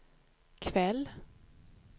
kväll